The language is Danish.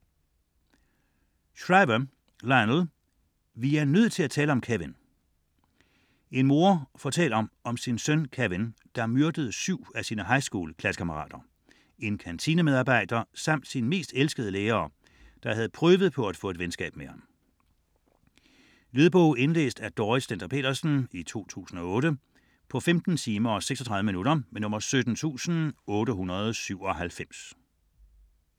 Shriver, Lionel: Vi er nødt til at tale om Kevin En mor fortæller om sin søn Kevin, der myrdede syv af sine highschool-klassekammerater, en kantinemedarbejder samt sin mest elskede lærer, som havde prøvet på at få et venskab med ham. Lydbog 17897 Indlæst af Dorrit Stender-Petersen, 2008. Spilletid: 15 timer, 56 minutter.